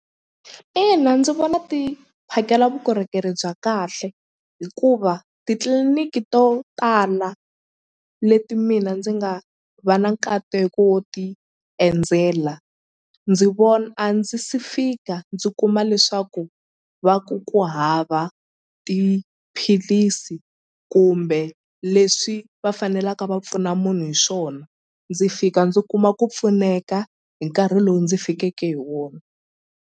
Ina ndzi vona ti phakela vukorhokeri bya kahle hikuva titliliniki to tala leti mina ndzi nga va na nkateko wo ti endzela ndzi a ndzi si fika ndzi kuma leswaku va ku ku hava tiphilisi kumbe leswi va fanelaka va pfuna munhu hi swona ndzi fika ndzi kuma ku pfuneka hi nkarhi lowu ndzi fikeke hi wona.